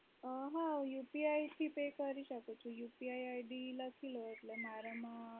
અ હા upi થી pay કરી શકુ છુ upiid લખી લો મારા માં